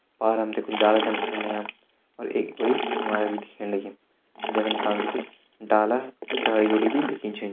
पार हम तैं कुछ डाला छन दिखेण लग्यां और एक बड़ी इमारत भी दिखेण लगीं जै का निशान पर कुछ डाला कुछ डाला कुछ झाड़ी दिखी छिन।